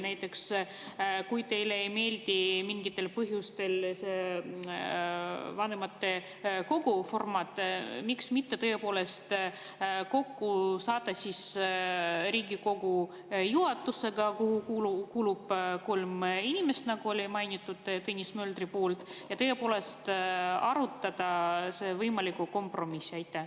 Näiteks, kui teile ei meeldi mingitel põhjustel vanematekogu formaat, miks mitte saada tõepoolest kokku Riigikogu juhatusega, kuhu kuulub kolm inimest, nagu oli mainitud Tõnis Möldri poolt, ja arutada võimalikku kompromissi?